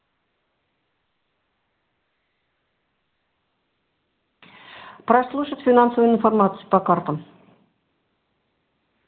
прослушать финансовую информацию по картам